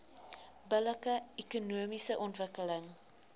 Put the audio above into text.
billike ekonomiese ontwikkeling